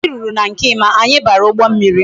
Mgbe anyi ruru na nke Emma anya bara ugbo mmiri